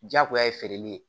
Jagoya ye feereli ye